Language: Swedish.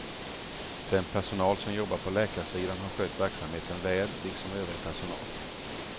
Den personal som jobbat på läkarsidan har skött verksamheten väl liksom övrig personal.